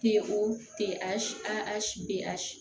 Ten o ten a si an si bɛ a si